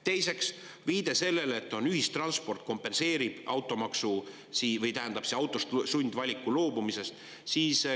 Teiseks oli viide sellele, et ühistransport kompenseerib automaksu, või tähendab, autost loobumise sundvalikut.